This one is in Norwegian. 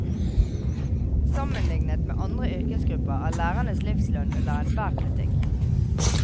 Sammenliknet med andre yrkesgrupper er lærernes livslønn under enhver kritikk.